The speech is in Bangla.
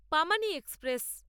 পামানি এক্সপ্রেস